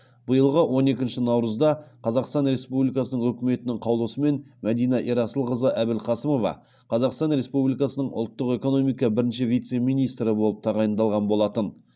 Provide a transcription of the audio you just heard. биылғы он екінші наурызда қазақстан республикасының үкіметінің қаулысымен мәдина ерасылқызы әбілқасымова қазақстан республикасының ұлттық экономика бірінші вице министрі болып тағайындалған болатын